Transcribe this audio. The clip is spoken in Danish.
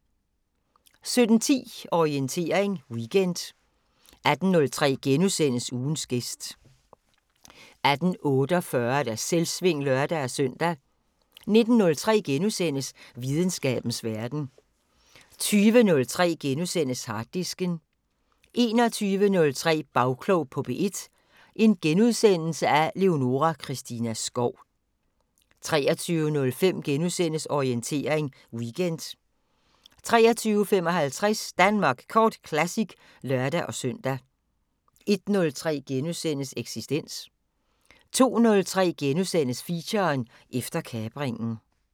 17:10: Orientering Weekend 18:03: Ugens gæst * 18:48: Selvsving (lør-søn) 19:03: Videnskabens Verden * 20:03: Harddisken * 21:03: Bagklog på P1: Leonora Christina Skov * 23:05: Orientering Weekend * 23:55: Danmark Kort Classic (lør-søn) 01:03: Eksistens * 02:03: Feature: Efter kapringen *